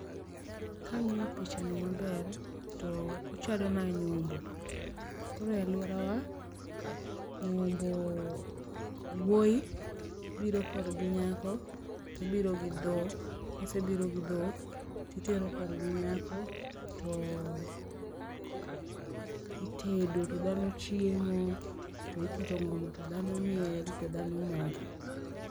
Ka ang'iyo picha ni maber, to ochalo na nyombo. Koro e aluorawa, nyombo, wuoyi biro korgi nyako to obiro gi dhok ,kosebiro gi dhok to itero kor gi nyako to itedo, to dhano chiemo, to iketo ngoma to dhano miel, to dhano mor.